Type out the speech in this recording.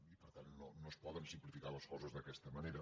i per tant no es poden simplificar les coses d’aquesta manera